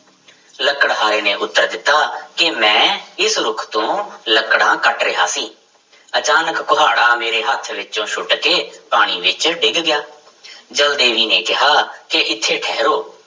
ਲੱਕੜਹਾਰੇ ਨੇ ਉੱਤਰ ਦਿੱਤਾ ਕਿ ਮੈਂ ਇਸ ਰੁੱਖ ਤੋਂ ਲੱਕੜਾਂ ਕੱਟ ਰਿਹਾ ਸੀ, ਅਚਾਨਕ ਕੁਹਾੜਾ ਮੇਰੇ ਹੱਥ ਵਿੱਚੋਂ ਸੁੱਟ ਕੇ ਪਾਣੀ ਵਿੱਚ ਡਿੱਗ ਗਿਆ ਜਲ ਦੇਵੀ ਨੇ ਕਿਹਾ ਕਿ ਇੱਥੇ ਠਹਿਰੋ